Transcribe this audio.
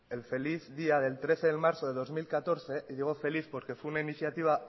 el feliz día del trece de marzo del dos mil catorce y digo feliz porque fue una iniciativa